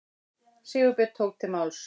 Sigurbjörn tók til máls.